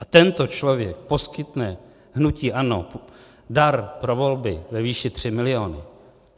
A tento člověk poskytne hnutí ANO dar pro volby ve výši 3 miliony.